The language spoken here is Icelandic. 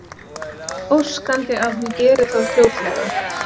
Óskandi að hann geri það fljótlega.